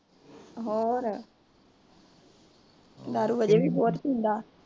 ਹੋਰ, ਦਾਰੂ ਬਹੁਤ ਪੀਂਦਾ।